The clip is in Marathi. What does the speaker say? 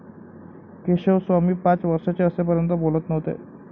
केशवस्वामी पाच वर्षाचे असेपर्यंत बोलत नव्हते.